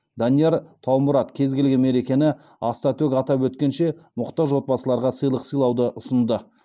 данияр таумұрат кез келген мерекені аста төк атап өткенше мұқтаж отбасыларға сыйлық сыйлауды ұсынды